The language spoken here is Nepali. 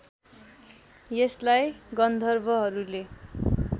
यसलाई गन्धर्वहरूले